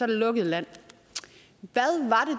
det lukket land